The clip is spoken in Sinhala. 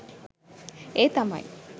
ඒ තමයි